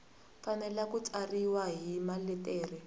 fanele ku tsariwa hi maletere